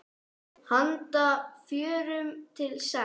Handa fjórum til sex